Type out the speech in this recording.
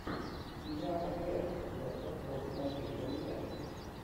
игра апл лестер против манчестер юнайтед